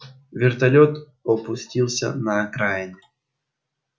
вертолёт опустился на окраине